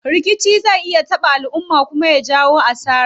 Rikici zai iya taɓa alumma kuma ya jawo asara.